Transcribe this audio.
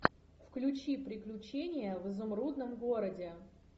включи приключения в изумрудном городе